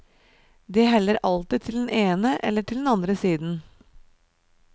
De heller alltid til den ene eller den andre siden.